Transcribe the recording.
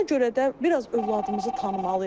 Buna görə də biraz övladımızı tanımalıyıq.